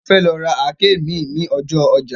A fẹ́ lọ ra àáké mi ní ọjọ́ ọjà